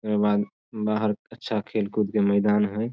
ए के बाद बाहर अच्छा खेल कूद के मैदान हेय ।